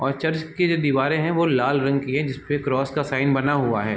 और चर्च की जो दीवारे है वो लाल रंग की है जिसपे क्रॉस का साइन बना हुआ है।